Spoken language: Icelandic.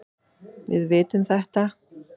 Við vitum þetta.